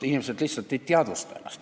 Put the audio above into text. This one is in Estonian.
Inimesed lihtsalt ei teadvusta probleemi.